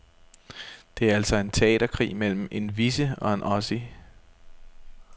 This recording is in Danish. Det er altså en teaterkrig mellem en wessie og en ossie.